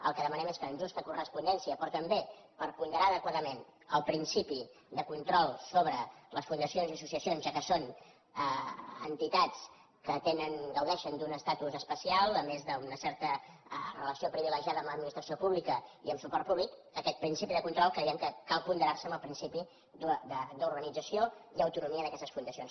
el que demanem és que en justa correspondència però també per ponderar adequadament el principi de control sobre les fundacions i associacions ja que són entitats que gaudeixen d’un estatus especial a més d’una certa relació privilegiada amb l’administració pública i amb suport públic aquest principi de control creiem que cal ponderar lo amb el principi d’organització i autonomia d’aquestes fundacions